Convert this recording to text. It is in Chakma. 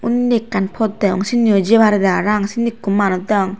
undi ekkan pot degong sindiyo jei paredey para pang sindi ekko manuj degong.